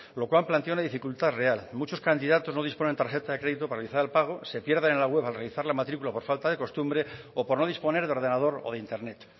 lo cual plantea una dificultad real muchos candidatos no disponen tarjeta de crédito para realizar el pago se pierden en la web al realizar la matrícula por falta de costumbre o por no disponer de ordenador o de internet